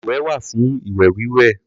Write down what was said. Baluwẹ̀ wà fún ìwẹ̀-wíwẹ̀.